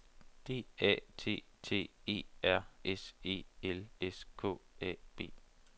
D A T T E R S E L S K A B